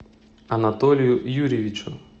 анатолию юрьевичу